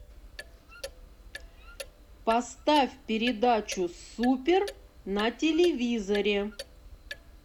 поставь передачу супер на телевизоре